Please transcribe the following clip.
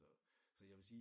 Så så jeg vil sige